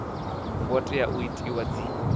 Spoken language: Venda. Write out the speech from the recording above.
ngo tea u itiwa dzi